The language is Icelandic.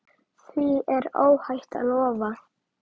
Því er óhætt að lofa.